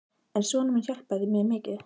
En sonur minn hjálpaði mér mikið.